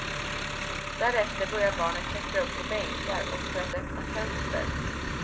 Därefter börjar barnet klättra upp på bänkar och för att öppna fönster.